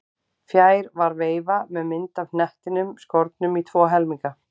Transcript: Fjær var veifa með mynd af hnettinum skornum í tvo helminga.